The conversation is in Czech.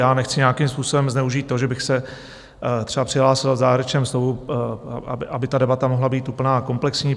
Já nechci nějakým způsobem zneužít to, že bych se třeba přihlásil v závěrečném slovu, aby ta debata mohla být úplná a komplexní.